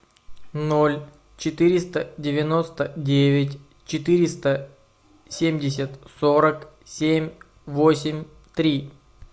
ноль четыреста девяносто девять четыреста семьдесят сорок семь восемь три